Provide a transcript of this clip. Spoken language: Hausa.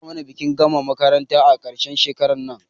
Za a mana bikin gama makaranta a ƙarshen shekarar nan